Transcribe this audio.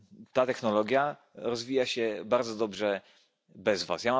Ta technologia rozwija się bardzo dobrze bez Was.